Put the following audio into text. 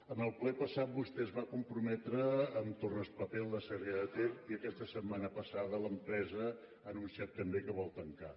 en el ple passat vostè es va comprometre amb torraspapel de sarrià de ter i aquesta setmana passada l’empresa ha anunciat també que vol tancar